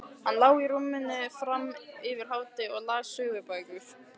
Hann lá í rúminu fram yfir hádegi og las sögubækur.